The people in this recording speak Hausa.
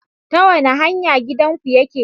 Ta wane hanya gidanku yake?